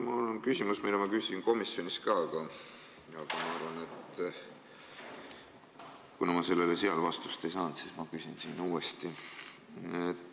Mul on küsimus, mille ma küsisin komisjonis ka, aga kuna ma sellele seal vastust ei saanud, siis küsin siin uuesti.